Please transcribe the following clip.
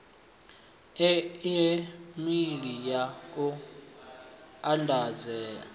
e meili ya u anganedza